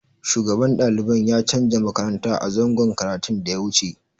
Shugaban daliban ya canza makaranta a zangon karatun da ya wuce.